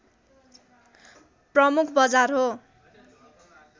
प्रमुख बजार हो